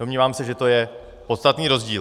Domnívám se, že to je podstatný rozdíl.